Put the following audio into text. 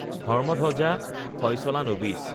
ধৰ্ম্মধব্জা ফয়চলা নবিচ